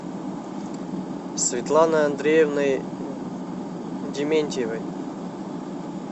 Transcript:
светланой андреевной дементьевой